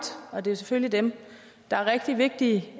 og det er jo selvfølgelig dem der er rigtig vigtige